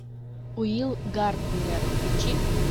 уилл гарднер включи